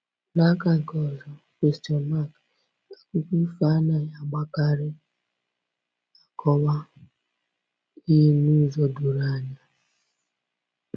N’aka nke ọzọ, akụkọ ifo anaghị agbakarị akọwa ihe n’ụzọ doro anya.